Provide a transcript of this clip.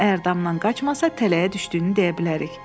Əgər damdan qaçmasa, tələyə düşdüyünü deyə bilərik.